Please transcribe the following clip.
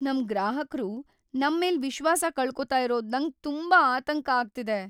‌ನಮ್ ಗ್ರಾಹಕ್ರು ನಮ್ಮೇಲ್ ವಿಶ್ವಾಸ ಕಳ್ಕೋತ ಇರೋದು ನಂಗ್ ತುಂಬಾ ಆತಂಕ ಆಗ್ತಿದೆ.